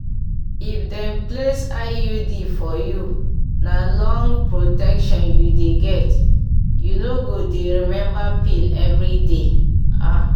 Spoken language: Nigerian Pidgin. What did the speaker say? if dem place iud for you na long protection you dey get you no go dey remember pill every day ah!